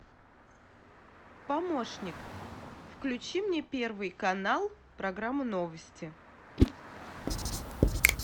помощник включи мне первый канал программу новости